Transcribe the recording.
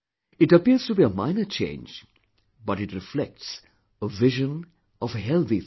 It appears to be a minor change but it reflects a vision of a healthy thought